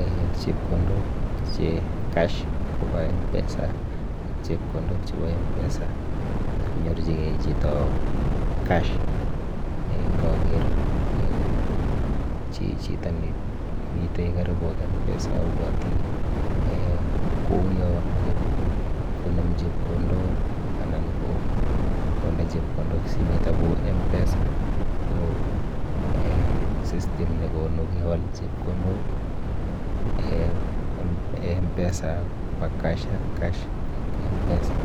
eh chepkondok che cash kopa M-PESA ak chepkondok chepo M-PESA sikonyorchikei chito cash. Nkaker chito nemite karibu ak M-PESA abwoti kouyo meche konem chepkondok anan ko konde chepkondok simet amu M-PESA ko eh system nekonu kewal chepkondok, M-PESA kopa cash ak cash kopa M-PESA.